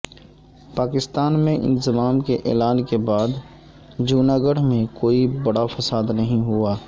پاکستان میں انضمام کے اعلان کے بعد جونا گڑھ میں کوئی بڑا فساد نہیں ہوا